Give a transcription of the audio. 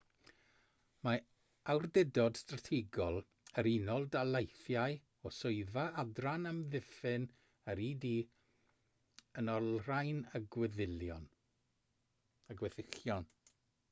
mae awdurdod strategol yr unol daleithiau o swyddfa adran amddiffyn yr ud yn olrhain y gweddillion